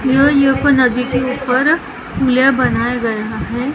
यह यो यो पर नदी के ऊपर बनाया गया है ।